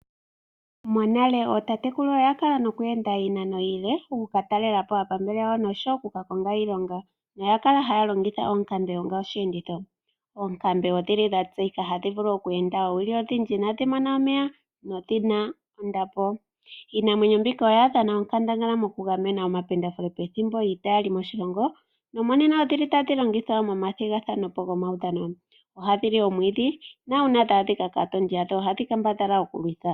Monale ootatekulu oya kala haya ende iinano iile oku ka talela po aapambele yawo nosho wo oku ka konga iilonga noya kala haya longitha oonkambe onga osheenditho. Oonkambe ohadhi vulu oku enda oowili odhindji inaaadhi mona omeya nodhi na ondapo. Iinamwenyo mbika oya dhana onkandangala mokugamena omapendafule pethimbo lyiita ya li moshilongo. Monena ohadhi longithwa momathigathano gomaudhano. Ohadhi li omwiidhi nuuna dha adhika kaatondi yadho ohadhi kambadhala oku ya kondjitha.